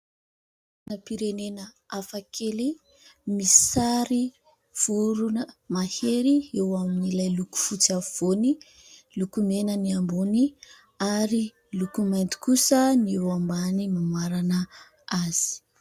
Sainam-pirenena hafa kely, misy sary vorona mahery eo amin'ilay loko fotsy afovoany. Loko mena ny ambony ary loko mainty kosa ny eo ambany mamarana azy.